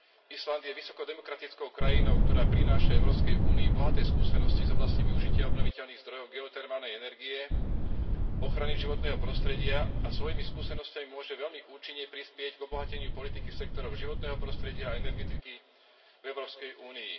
Island je vysoko demokratickou krajinou, ktorá prináša Európskej únii bohaté skúsenosti z oblasti využitia obnoviteľných zdrojov, geotermálnej energie, ochrany životného prostredia a svojimi skúsenosťami môže veľmi účinne prispieť k obohateniu politiky sektorov životného prostredia a energetiky v Európskej únii.